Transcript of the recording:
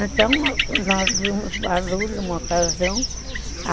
Então, nós vimos barulho numa ocasião.